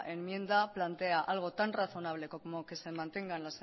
enmienda plantea algo tan razonable como que se mantengan